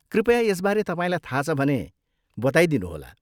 कृपया यसबारे तपाईँलाई थाहा छ भने बताइदिनुहोला।